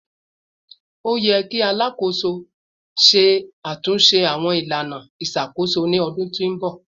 O ti ṣe yẹ Alakoso Alakoso lati ṣatunṣe awọn ilana iṣakoso ni oṣu ti n bọ